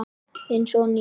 Eins og nýr.